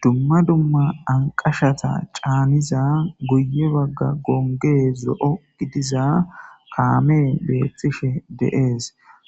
dumma dumma anqashata caaniza guye bagga gongee zo7o gidiza kaame beettishe deees